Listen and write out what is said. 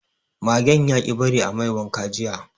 Magen yaƙi bari a mai wanka jiya